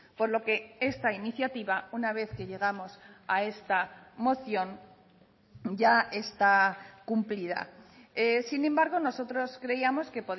por lo que esta iniciativa una vez que llegamos a esta moción ya está cumplida sin embargo nosotros creíamos que